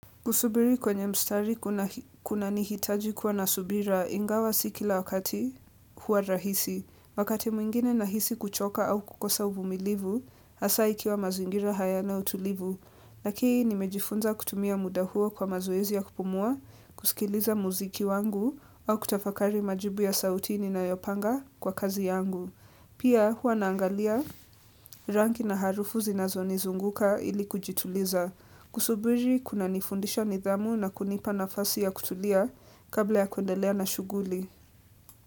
Kusubiri kwenye mstari kuna nihitaji kuwa nasubira ingawa sikila wakati hua rahisi. Wakati mwingine na hisi kuchoka au kukosa uvumilivu, hasa ikiwa mazingira haya na utulivu. Lakii nimejifunza kutumia muda hua kwa mazoezi ya kupumua, kusikiliza muziki wangu au kutafakari majibu ya sauti ni na yopanga kwa kazi yangu. Pia huwa naangalia ranki na harufu zinazo nizunguka ili kujituliza. Kusubuli kuna nifundisha nidhamu na kunipa nafasi ya kutulia kabla ya kuendelea na shughuli.